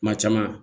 Kuma caman